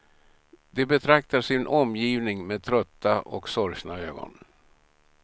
De betraktar sin omgivning med trötta och sorgsna ögon.